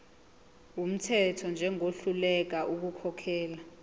wumthetho njengohluleka ukukhokhela